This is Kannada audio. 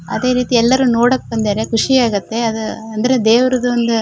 ಅದೆ ರೀತಿ ಎಲ್ಲರು ನೋಡಕ್ ಬಂದರೆ ಖುಷಿ ಆಗುತ್ತೆ ಅದು ಅಂದ್ರೆ ದೇವ್ರದ್ ಒಂದು --